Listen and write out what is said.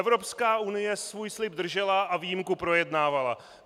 Evropská unie svůj slib držela a výjimku projednávala.